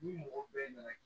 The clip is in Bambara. Ni mɔgɔ bɛɛ nana